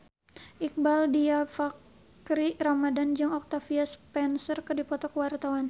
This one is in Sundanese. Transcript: Iqbaal Dhiafakhri Ramadhan jeung Octavia Spencer keur dipoto ku wartawan